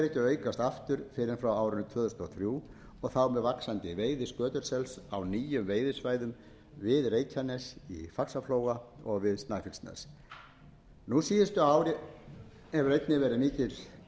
aukast aftur fyrr en frá árinu tvö þúsund og þrjú og þá með mjög vaxandi veiði skötusels á nýjum veiðisvæðum við reykjanes í faxaflóa og við snæfellsnes nú síðustu ár hefur einnig